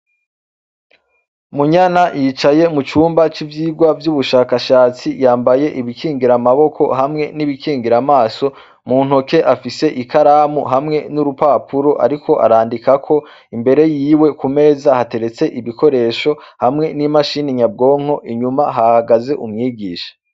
Munyana yicaye mu cumba c'ivyirwa vy'ubushakashatsi yambaye ibikingira amaboko hamwe n'ibikingira amaso muntoke afise i karamu hamwe n'urupapuro, ariko arandikako imbere yiwe ku meza hateretse ibikoresho hamwe n'imashini nyabwonko inyuma hahagaze umwigisha.